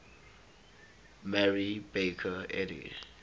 mary baker eddy